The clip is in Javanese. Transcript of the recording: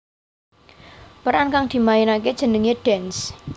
Peran kang dimainaké jenengé Dance